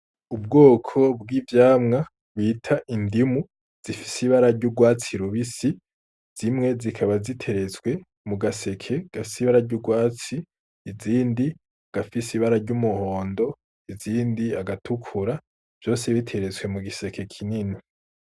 Ubwoko bw'ivyamwa bita indimu zifise ibara ry'urwatsi i rubisi zimwe zikaba ziterezwe mu gaseke gafse ibara ry'urwatsi izindi agafise ibara ry'umuhondo izindi agatukura vyose biterezwe mu giseke kinini.